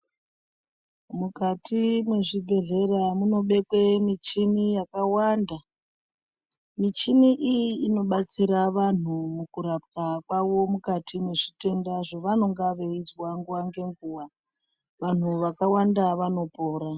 Mukati mwezvibhehlera munobekwe michini yakawanda. Michini iyi inobatsira vanhu mukurapwa kwavo mukati mwezitenda zvavanonga veizwa nguva ngenguva. Vantu vakawanda vanopora.